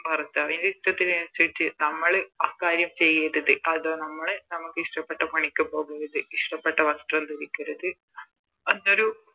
ഭർത്താവിൻറെ ഇഷ്ട്ടത്തിനനുസരിച്ച് നമ്മള് ആ കാര്യം ചെയ്യരുത് അത് നമ്മളെ നമുക്ക് ഇഷ്ട്ടപ്പെട്ട പണിക്ക് പോകരുത് ഇഷ്ട്ടപ്പെട്ട വസ്ത്രം ധരിക്കരുത് ഒരു